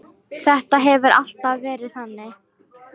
Þetta hefur alltaf verið þannig.